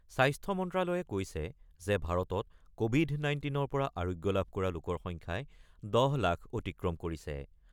স্বাস্থ্য মন্ত্ৰালয়ে কৈছে যে ভাৰতত ক'ভিড ১৯ ৰ পৰা আৰোগ্য লাভ কৰা লোকৰ সংখ্যাই ১০ লাখ অতিক্ৰম কৰিছে।